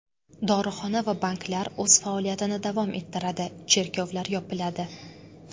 Dorixona va banklar o‘z faoliyatini davom ettiradi, cherkovlar yopiladi.